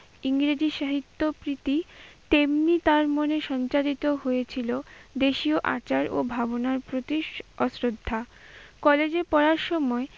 ইংরেজি সাহিত্যপ্রীতি তেমনি তার মনে সঞ্চারিত হয়েছিল দেশীয় আচার ও ভাবনার প্রতি অশ্রদ্ধা। কলেজে পড়ার সময়